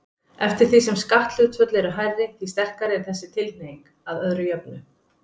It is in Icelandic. Eftir því sem skatthlutföll eru hærri, því sterkari er þessi tilhneiging, að öðru jöfnu.